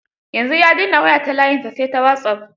Yanzu ya dena waya ta layinsa, sai ta wasop.